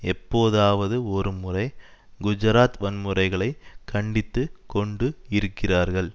எப்போதாவது ஒரு முறை குஜராத் வன்முறைகளை கண்டித்துக்கொண்டு இருக்கிறார்கள்